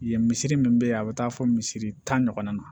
Yen misiri min bɛ yen a bɛ taa fɔ misiri tan ɲɔgɔnna na